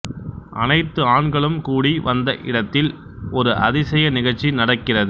அனைத்து ஆண்களும் கூடி வந்த இடத்தில் ஒரு அதிசய நிகழ்ச்சி நடக்கிறது